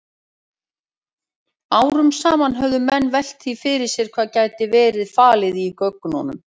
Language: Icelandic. Árum saman höfðu menn velt því fyrir sér hvað gæti verið falið í göngunum.